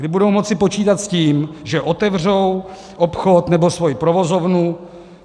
Kdy budou moci počítat s tím, že otevřou obchod nebo svoji provozovnu.